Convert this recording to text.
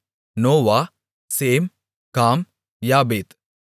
Noah Shem Ham யாப்பேத்